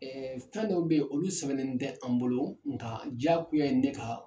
Ɛɛ fɛn dɔw bɛ olu sɛbɛn tɛ an bolo nka diyagoya ye ne ka